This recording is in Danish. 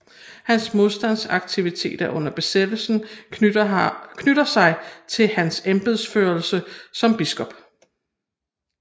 Hans modstandsaktiviteter under besættelsen knytter sig til hans embedsførelse som biskop